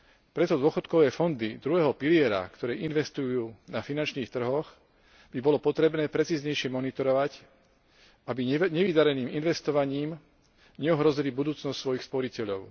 Preto dôchodkové fondy druhého piliera, ktoré investujú na finančných trhoch, by bolo potrebné precíznejšie monitorovať, aby nevydareným investovaním neohrozili budúcnosť svojich sporiteľov.